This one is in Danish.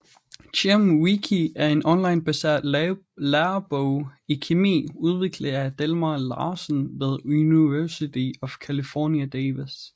ChemWiki er en onlinebaseret lærebog i kemi udviklet af Delmar Larsen ved University of California Davis